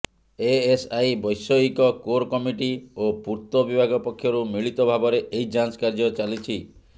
ASI ବୈଷୟିକ core committee ଓ ପୂର୍ତ୍ତ ବିଭାଗ ପକ୍ଷରୁ ମିଳିତ ଭାବରେ ଏହି ଯାଞ୍ଚ କାର୍ଯ୍ୟ ଚାଲିଛି